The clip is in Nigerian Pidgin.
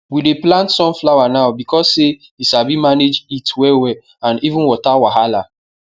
we dey plant sun flower now beacuse say e sabi manage heat well well and even water wahala